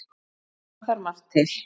bar þar margt til